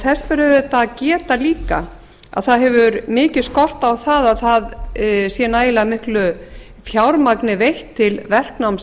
þess ber auðvitað að geta líka að það hefur mikið skort á að það sé nægilega miklu fjármagni veitt til verknáms